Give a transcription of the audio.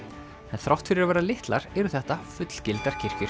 en þrátt fyrir að vera litlar eru þetta fullgildar kirkjur